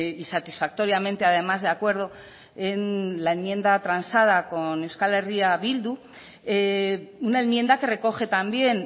y satisfactoriamente además de acuerdo en la enmienda transada con euskal herria bildu una enmienda que recoge también